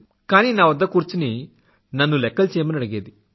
కానీ నా వద్ద కూర్చుని నన్ను లెఖ్ఖలు చెయ్యమని అడిగేది